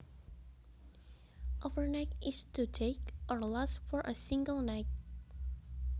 Overnight is to take or last for a single night